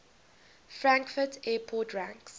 frankfurt airport ranks